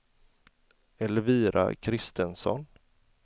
Elvira Kristensson